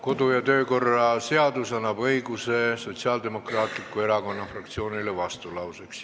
Kodu- ja töökorra seadus annab Sotsiaaldemokraatliku Erakonna fraktsioonile õiguse vastulauseks.